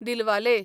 Dilwale